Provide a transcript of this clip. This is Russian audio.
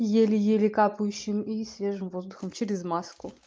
еле-еле капающим и свежим воздухом через маску